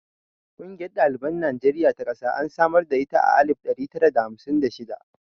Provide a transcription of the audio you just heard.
Ƙungiyar ɗaliban Najeriya ta ƙasa an samar da ita a alif ɗari tara da hamsin da shida.